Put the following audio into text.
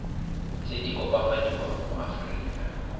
tse di opafadiwang mo aforika